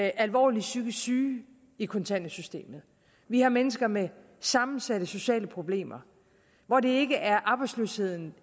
alvorligt psykisk syge i kontanthjælpssystemet vi har mennesker med sammensatte sociale problemer hvor det ikke er arbejdsløsheden